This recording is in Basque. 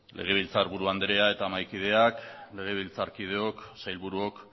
legebiltzarburu andrea eta mahaikideak legebiltzarkideok sailburuok